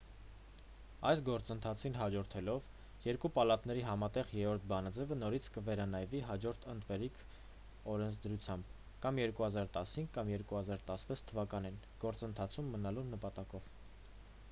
այդ գործընթացին հաջորդելով երկու պալատների համատեղ 3-րդ բանաձևը նորից կվերանայվի հաջորդ ընտրվելիք օրենսդրությամբ կամ 2015 կամ 2016 թվականին գործընթացում մնալու նպատակով